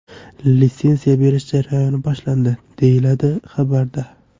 Litsenziya berish jarayoni boshlandi”, deyiladi xabarda.